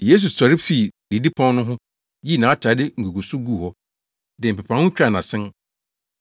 Yesu sɔre fii didipon no ho, yii nʼatade nguguso guu hɔ, de mpepaho twaa nʼasen.